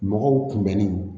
Mɔgɔw kunbɛnni